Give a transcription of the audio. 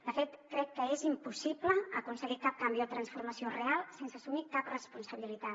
de fet crec que és impossible aconseguir cap canvi o transformació real sense assumir cap responsabilitat